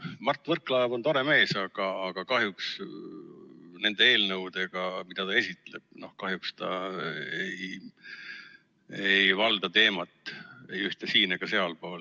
Mart Võrklaev on tore mees, aga kahjuks nende eelnõude puhul, mida ta siin esitleb, ta ei valda teemat ei siit- ega sealtpoolt.